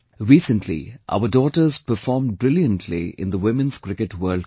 Recently our daughters performed brilliantly in the Women's Cricket World Cup